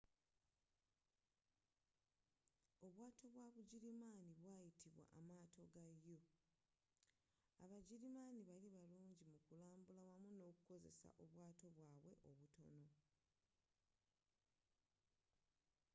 obwaato bwa bugirimaani bwayitibwa amaato ga u abagirimaani bali barungi mu kulambula wamu nokukozesa obwato bwabwe obutono